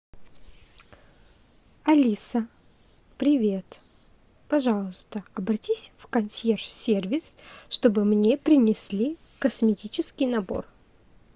алиса привет пожалуйста обратись в консьерж сервис чтобы мне принесли косметический набор